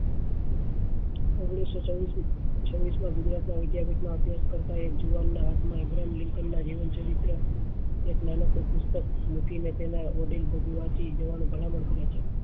ઓગણીસો ચૌદ થી છવીસ માં ગુજરાત માં વિદ્યા જેટલો અભ્યાસ કરતા હોય એક જુવાન નાં હાથ માં ના જીવન ચરિત્ર એક નાનકડું પુસ્તક મૂકી મૂકી ને તેના જવાની ભલામણ કરે છે